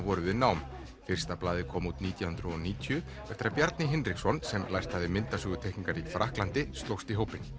voru við nám fyrsta blaðið kom út nítján hundruð og níutíu eftir að Bjarni Hinriksson sem lært hafði myndasögu teikningar í Frakklandi slóst í hópinn